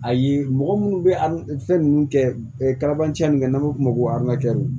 A ye mɔgɔ minnu bɛ an fɛn ninnu kɛ ka n'an b'a fɔ o ma ko